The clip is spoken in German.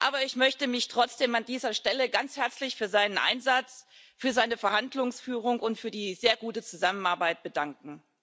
Aber ich möchte mich trotzdem an dieser Stelle ganz herzlich für seinen Einsatz, für seine Verhandlungsführung und für die sehr gute Zusammenarbeit bedanken.